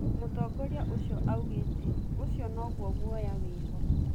Mũtongoria ũcio augete"Ũcio noguo guoya wĩho"